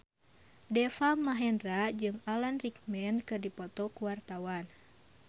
Deva Mahendra jeung Alan Rickman keur dipoto ku wartawan